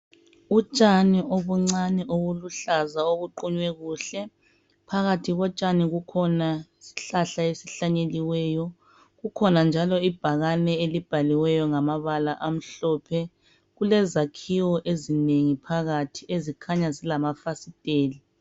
Utshani obuncane obuluhlaza obuqunye kuhle phakathi kotshani kukhona isihlahla esihlanyeliweyo kukhona njalo ibhakane elibhaliweyo ngamabala amhlophe kulezakiwo ezinengi phakathi ezikhanya zilamafasiteli .